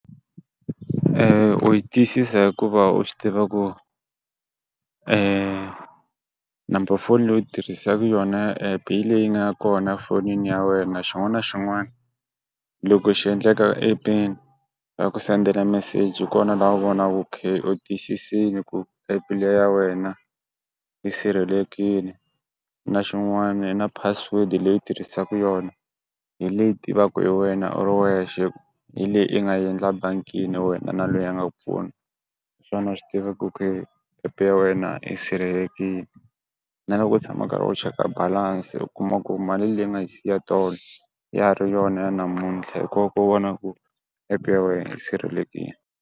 u yi twisisa hikuva u swi tiva ku number foni leyi u yi tirhisaku yona ya app hi leyi nga kona fonini ya wena xin'wana na xin'wana loko xi endleka app-eni va ku sendela meseji hi kona la u vonaku ku ok u tiyisisini ku app le ya wena yi sirhelekini na xin'wanii na password-i leyi tirhisaku yona, hi leyi tivaku hi wena u ri wexe hi leyi i nga yi endla bangini ya wena na loyi a nga ku pfuna, hiswona swi tiva ku ok app ya wena i sirhelekini, na loko u tshama u karhi u cheka balance u kuma ku mali leyi nga yi siya tolo ya ha ri yona ya namuntlha hi ko ku vona ku app ya wena yi sirhelekini.